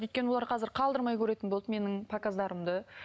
өйткені олар қазір қалдырмай көретін болды менің показдарымды